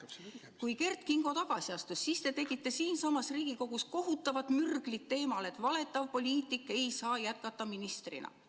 Kui Kert Kingo tagasi astus, siis te tegite siinsamas Riigikogus kohutavat mürglit teemal, et valetav poliitik ei saa jätkata ministrina.